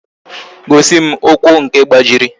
Gosi m ụkwụ nke gbajiri